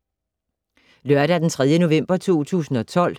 Lørdag d. 3. november 2012